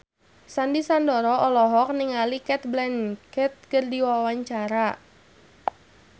Sandy Sandoro olohok ningali Cate Blanchett keur diwawancara